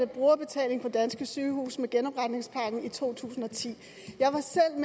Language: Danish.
brugerbetaling på danske sygehuse med genopretningspakken i to tusind og ti